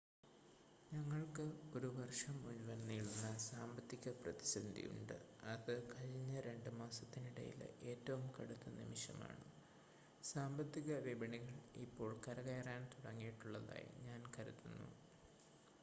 ഞങ്ങൾക്ക് ഒരു വർഷം മുഴുവൻ നീളുന്ന സാമ്പത്തിക പ്രതിസന്ധിയുണ്ട് അത് കഴിഞ്ഞ രണ്ട് മാസത്തിനിടയിലെ ഏറ്റവും കടുത്ത നിമിഷമാണ് സാമ്പത്തിക വിപണികൾ ഇപ്പോൾ കരകയറാൻ തുടങ്ങിയിട്ടുള്ളതായി ഞാൻ കരുതുന്നു